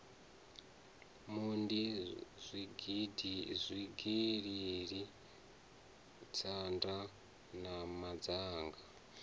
mondi zwigili tshinda na mazhana